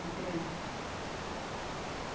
Na criança.